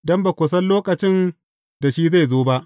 Don ba ku san lokacin da shi zai zo ba.